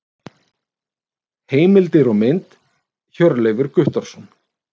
Heimildir og mynd: Hjörleifur Guttormsson.